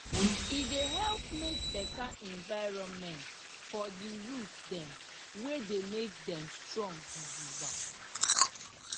e dey help make better environmentfor di root dem wey dey make dem strong gidigba